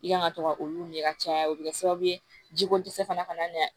I kan ka to ka olu ɲɛ ka caya o bɛ kɛ sababu ye jiko dɛsɛ fana ka na